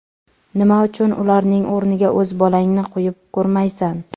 Nima uchun ularning o‘rniga o‘z bolangni qo‘yib ko‘rmaysan?